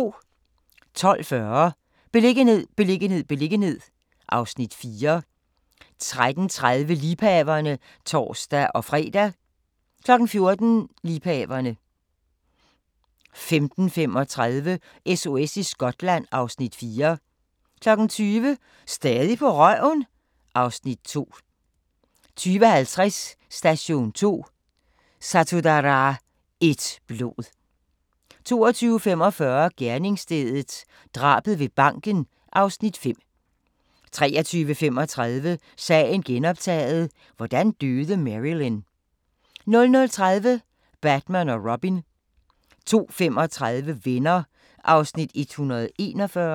12:40: Beliggenhed, beliggenhed, beliggenhed (Afs. 4) 13:30: Liebhaverne (tor-fre) 14:00: Liebhaverne 15:35: SOS i Skotland (Afs. 4) 20:00: Stadig på røven? (Afs. 2) 20:50: Station 2: Satudarah – ét blod 22:45: Gerningsstedet – drabet ved banken (Afs. 5) 23:35: Sagen genoptaget – hvordan døde Marilyn? 00:30: Batman & Robin 02:35: Venner (141:235)